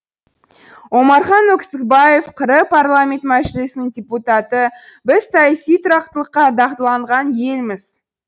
омархан өксікбаев қр парламенті мәжілісінің депутаты біз саяси тұрақтылыққа дағдыланған елміз